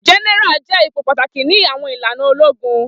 Gẹ́nẹ́ra jẹ ipò pàtàkì ni àwọn ìlànà ológun